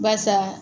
Barisa